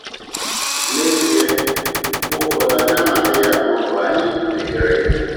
N’ezie, mgbe ụfọdụ anyị anadịghị ama mgbe anyị mehiere ihe!